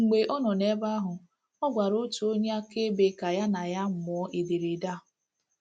Mgbe ọ nọ n’ebe ahụ, ọ gwara otu onye akaebe ka ya na ya mụọ ederede a.